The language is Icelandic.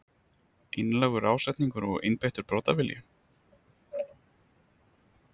Einlægur ásetningur og einbeittur brotavilji?